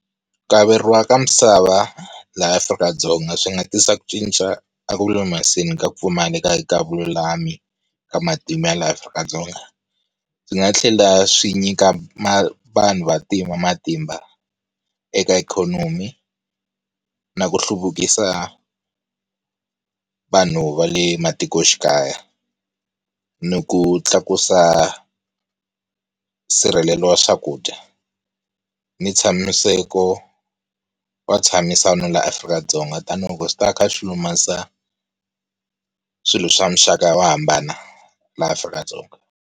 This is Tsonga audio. Ku averiwa ka misava laha Afrika-Dzonga swi nga tisa ku cinca a ku lulamiseni ka ku pfumaleka ka vululami ka matimu ya laha Afrika-Dzonga. Swi nga tlhela swi nyika manhu vanhu vantima matimba eka ikhonomi, na ku hluvukisa vanhu va le matikoxikaya, ni ku tlakusa sirhelelo wa swakudya, ni tshamiseko wa ntshamisano la Afrika-Dzonga. Tanihi loko swi ta ka ku lulamisa swilo swa muxaka wa hambana laha Afrika-Dzonga.